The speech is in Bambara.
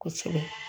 Kosɛbɛ